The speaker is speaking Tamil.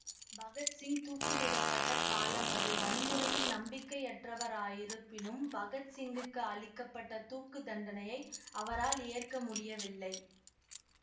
பகத் சிங் தூக்கிலிடப்பட்ட காலம் அது வன்முறையில் நம்பிக்கையற்றவராயிருப்பினும் பகத் சிங்குக்கு அளிக்க பட்ட தூக்குத்தண்டனையை அவரால் ஏற்க முடியவில்லை